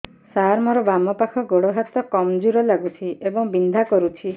ସାର ମୋର ବାମ ପାଖ ଗୋଡ ହାତ କମଜୁର ଲାଗୁଛି ଏବଂ ବିନ୍ଧା କରୁଛି